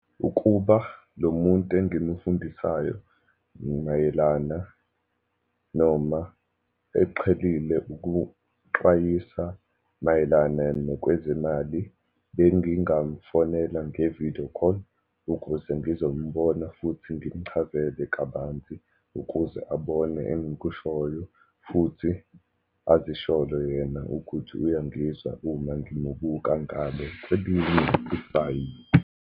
Ukuba lo muntu angimufundisayo mayelana noma eqhelile ukuxwayisa mayelana nokwezemali. Bengingamfonela nge-video call, ukuze ngizombona, futhi ngimuchazele kabanzi ukuze abone engikushoyo, futhi azisholo yena ukuthi uya ngizwa uma ngimubuka ngale .